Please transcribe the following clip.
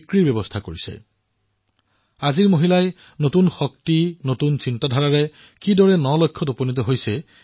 এয়া এক উদাহৰণ আজিৰ মহিলাই নতুন শক্তি নতুন চিন্তাধাৰাৰ সৈতে কিদৰে নিজৰ লক্ষ্যত উপনীত হৈছে